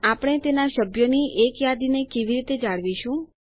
આપણે તેના સભ્યોની એક યાદીને કેવી રીતે જાળવીશું